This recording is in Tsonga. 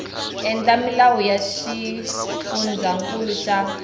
endla milawu ya xifundzankulu xa